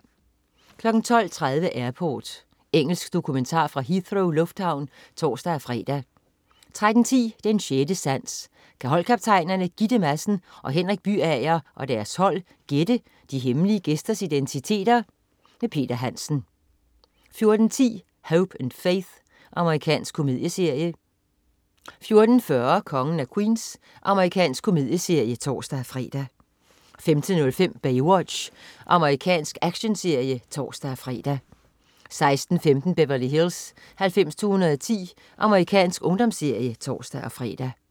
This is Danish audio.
12.30 Airport. Engelsk dokumentar fra Heathrow lufthavn (tors-fre) 13.10 Den 6. Sans. Kan holdkaptajnerne Gitte Madsen og Henrik Byager og deres hold gætte de hemmelige gæsters identiteter? Peter Hansen 14.10 Hope and Faith. Amerikansk komedieserie 14.40 Kongen af Queens. Amerikansk komedieserie (tors-fre) 15.05 Baywatch. Amerikansk actionserie (tors-fre) 16.15 Beverly Hills 90210. Amerikansk ungdomsserie (tors-fre)